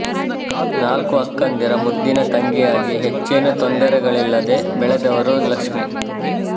ನಾಲ್ಕು ಅಕ್ಕಂದಿರ ಮುದ್ದಿನ ತಂಗಿಯಾಗಿ ಹೆಚ್ಚೇನೂ ತೊಂದರೆಗಳಿಲ್ಲದೆ ಬೆಳೆದವರು ಲಕ್ಶ್ಮೀ